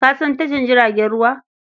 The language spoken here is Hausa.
Ka san tashar jiragen ruwa?